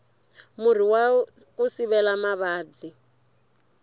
murhi waku sivela mavabyi